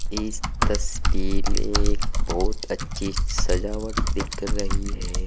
इस तस्वीर में एक बहोत अच्छी सजावट दिख रही है।